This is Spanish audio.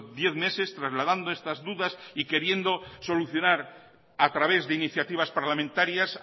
diez meses trasladando estas dudas y queriendo solucionar a través de iniciativas parlamentarias